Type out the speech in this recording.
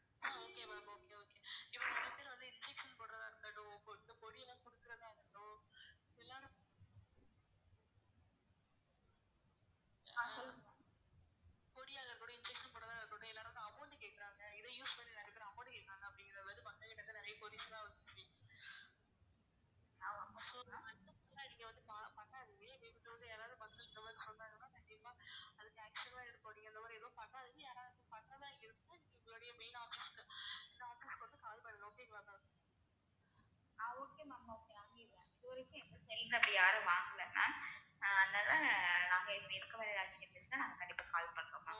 இங்க அப்டி யாரும் வாங்கல ma'am அதனால நாங்க இப்படி இருக்க கண்டிப்பா call பண்றோம் maam